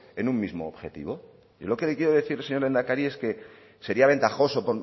en un mismo objetivo yo lo que le quiero decir señor lehendakari es que sería ventajoso